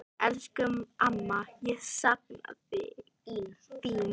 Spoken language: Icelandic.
Elsku amma, ég sakna þín.